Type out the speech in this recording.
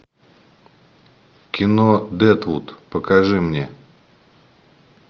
кино дедвуд покажи мне